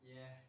Ja